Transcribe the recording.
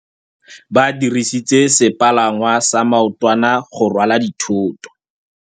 Ba dirisitse sepalangwasa maotwana go rwala dithôtô.